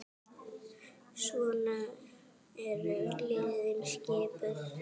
Svona eru liðin skipuð